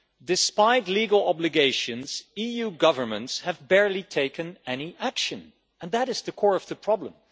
Despite legal obligations, EU governments have barely taken any action and that is the core of the problem.